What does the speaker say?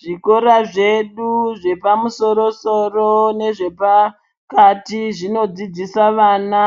Zvikora zvedu zvepamusoro-soro nezvepakati zvinodzidzisa vana